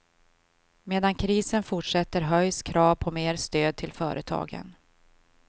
Medan krisen fortsätter höjs krav på mer stöd till företagen.